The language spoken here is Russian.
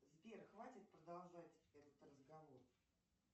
сбер хватит продолжать этот разговор